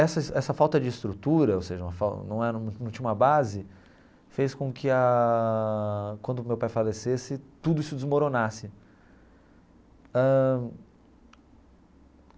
Essa essa falta de estrutura, ou seja, uma fal não era num tinha uma base, fez com que ah, quando meu pai falecesse, tudo isso desmoronasse ãh.